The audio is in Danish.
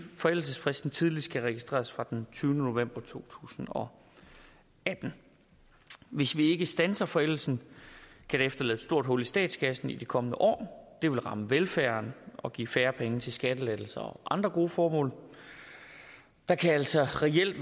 forældelsesfristen tidligst kan registreres fra den tyvende november to tusind og atten hvis vi ikke standser forældelsen kan det efterlade et stort hul i statskassen i de kommende år det vil ramme velfærden og give færre penge til skattelettelser og andre gode formål det kan altså